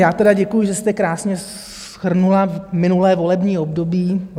Já tedy děkuji, že jste krásně shrnula minulé volební období.